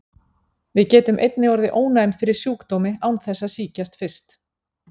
Við getum einnig orðið ónæm fyrir sjúkdómi án þess að sýkjast fyrst.